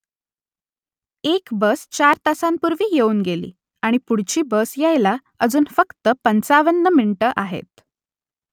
एक बस चार तासांपूर्वी येऊन गेली आणि पुढची बस यायला अजून फक्त पंचावन्न मिनिटं आहेत